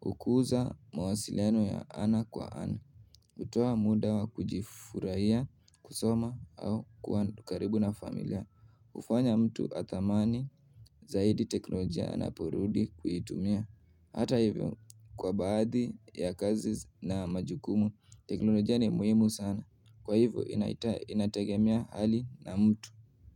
hukuza mawasiliano ya ana kwa ana hutuwa muda wa kujifurahia kusoma au kua karibu na familia kufanya mtu athamani zaidi teknolojia anaporudi kuitumia Hata hivyo, kwa baadhi ya kazi na majukumu, teknolojia ni muhimu sana. Kwa hivyo, inategemia hali na mtu.